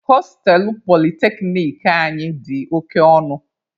Hostelụ polyteknic anyị dị oke ọnụ.